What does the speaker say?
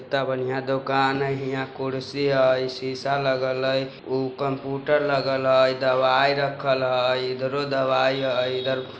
कित्ता बढ़िया दुकान-- यहां कुर्सी हैय शीशा लगल हैय उ कम्प्यूटर लगल हैय दवाई रखल हैय ईधरो दवाई हैय इधर --